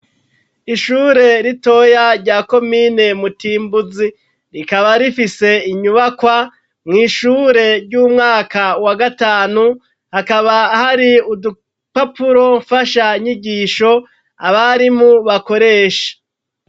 Ishure ritoya rya komine Mutimbuzi. Rikaba rifise inyubakwa, mw'ishure ry'umwaka wa gatanu, hakaba hari udupapuro mfashanyigisho abarimu bakoresha.